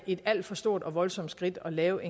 et alt for stort og voldsomt skridt at lave